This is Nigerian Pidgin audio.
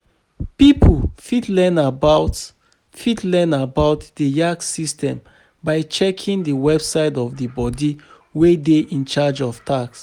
Pipo fit learn about fit learn about di yax system by checking di website of di body wey dey in charge of tax